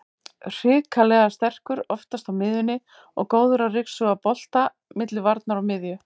Hrikalega sterkur aftast á miðjunni og góður að ryksuga bolta milli varnar og miðju.